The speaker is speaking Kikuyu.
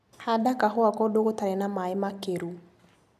Handa kahũa kũndũ gũtarĩ na maĩ makĩru.